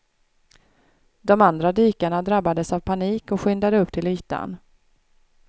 De andra dykarna drabbades av panik och skyndade upp till ytan.